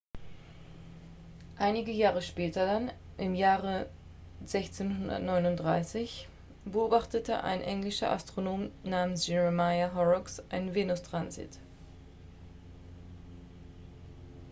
einige jahre später dann im jahr 1639 beobachtete ein englischer astronom namens jeremiah horrocks einen venustransit